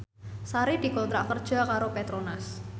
Sari dikontrak kerja karo Petronas